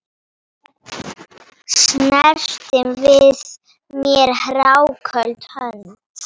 Snerti við mér hráköld hönd?